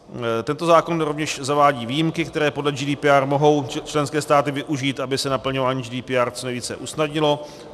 Tento zákon rovněž zavádí výjimky, které podle GDPR mohou členské státy využít, aby se naplňování GDPR co nejvíce usnadnilo.